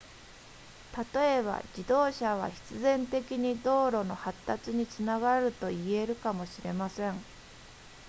例えば自動車は必然的に道路の発達につながると言えるかもしれません